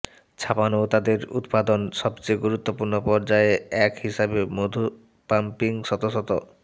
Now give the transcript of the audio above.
ছাপানো ও তাদের উত্পাদন সবচেয়ে গুরুত্বপূর্ণ পর্যায়ে এক হিসাবে মধু পাম্পিং শত শত